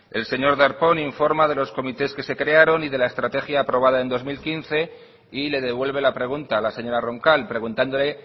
el señor darpón informa de los comités que se crearon y de la estrategia aprobada en dos mil quince y le devuelve la pregunta a la señora roncal preguntándole